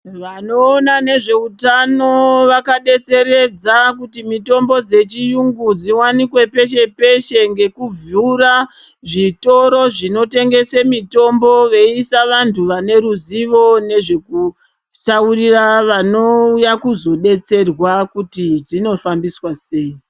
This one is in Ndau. Vanoona nezveutano vakadetseredza kuti mitombo dzechiyungu dziwanikwe peshe -peshe, ngekuvhura, zvitoro zvinotengese mitombo veiisa vantu vane ruzivo nezvekutaurira vanouya kuzodetserwa kuti dzinofambiswa sei.